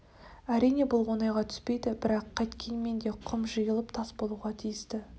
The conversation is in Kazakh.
әрине бұл оңайға түспейді бірақ қайткенмен де құм жиылып тас болуға тиісті